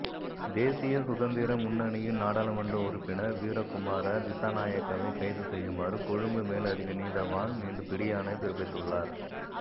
தேசிய சுதந்திர முன்னணியின் நாடாளுமன்ற உறுப்பினர் வீரகுமார திஸாநாயக்கவை கைது செய்யுமாறு கொழும்பு மேலதிக நீதவான் இன்று பிடியாணை பிறப்பித்துள்ளார்